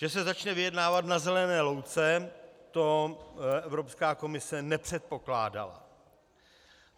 Že se začne vyjednávat na zelené louce, to Evropská komise nepředpokládala.